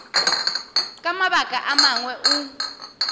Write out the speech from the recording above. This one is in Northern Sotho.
ka mabaka a mangwe o